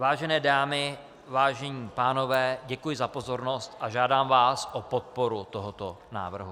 Vážené dámy, vážení pánové, děkuji za pozornost a žádám vás o podporu tohoto návrhu.